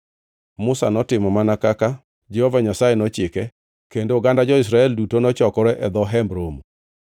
Musa notimo mana kaka Jehova Nyasaye nochike, kendo oganda jo-Israel duto nochokore e dho Hemb Romo.